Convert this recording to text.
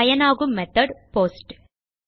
பயனாகும் method post